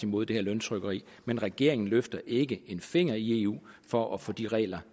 imod det her løntrykkeri men regeringen løfter ikke en finger i eu for at få de regler